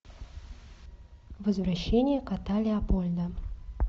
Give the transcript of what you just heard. возвращение кота леопольда